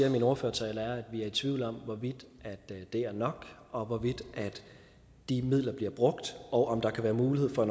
i min ordførertale at vi er i tvivl om hvorvidt det er nok og hvorvidt de midler bliver brugt og om der kan være mulighed for at